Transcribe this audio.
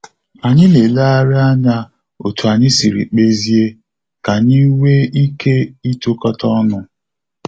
Anyị na eleghari anya otú anyị siri kpezie, ka anyị wee ike itokata ọnụ